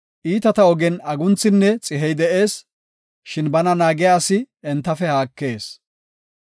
Iitata ogen agunthinne xihey de7ees; shin bana naagiya asi entafe haakees.